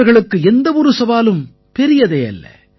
இவர்களுக்கு எந்த ஒரு சவாலும் பெரியதே அல்ல